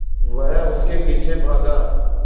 वह उसके पीछे भागा